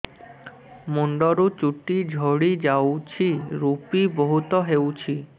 ମୁଣ୍ଡରୁ ଚୁଟି ଝଡି ଯାଉଛି ଋପି ବହୁତ ହେଉଛି